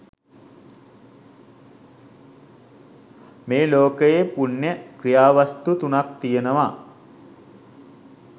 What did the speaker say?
මේ ලෝකයේ පුණ්‍ය ක්‍රියාවස්තු තුනක් තියෙනවා.